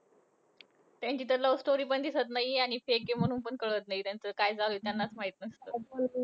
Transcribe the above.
त्यांची तर love story पण दिसतं नाहीये. आणि fake आहे म्हणून पण कळत नाहीये. त्यांचं काय चालूये, त्यांचं त्यांनाच माहितीये.